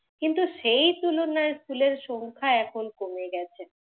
কিন্তু সেই তুলনায় ফুলের সংখ্যা এখন কমে গেছে।